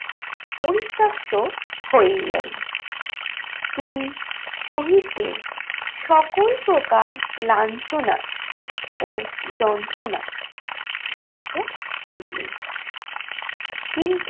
পরিত্যাক্ত হইলেন। তিনি শহীদদের সকল প্রকার লাঞ্ছনা ও যন্ত্রণা সহ্য করিলেন। কিন্তু